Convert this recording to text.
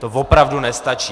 To opravdu nestačí!